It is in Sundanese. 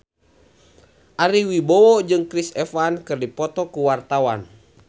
Ari Wibowo jeung Chris Evans keur dipoto ku wartawan